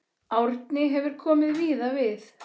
Árni hefur komið víða við.